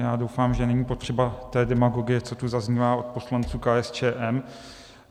Já doufám, že není potřeba té demagogie, co tu zaznívá od poslanců KSČM.